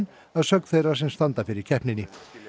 að sögn þeirra sem standa fyrir keppninni